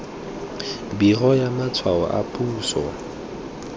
biro ya matshwao a puso